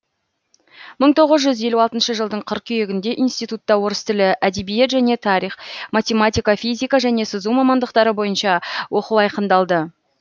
мың тоғыз жүз елу алтыншы жылдың қыркүйегінде институтта орыс тілі әдебиет және тарих математика физика және сызу мамандықтары бойынша оқу айқындалды